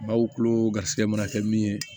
Baw kulo garisɛgɛ mana kɛ min ye